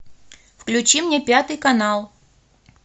включи мне пятый канал